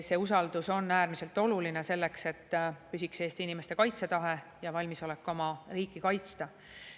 See usaldus on äärmiselt oluline selleks, et püsiks Eesti inimeste kaitsetahe ja valmisolek oma riiki kaitsta.